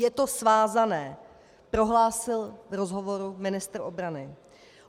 Je to svázané, prohlásil v rozhovoru ministr obrany.